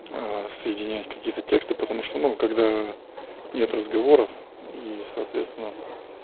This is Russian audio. соединять какие-то тексты потому что ну когда нет разговоров и соответственно